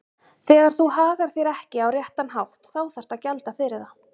Þegar þú hagar þér ekki á réttan hátt þá þarftu að gjalda fyrir það.